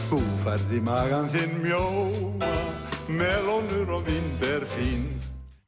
þú færð í magann þinn mjóa melónur og vínber fín